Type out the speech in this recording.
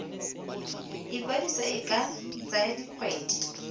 ikwadiso e ka tsaya dikgwedi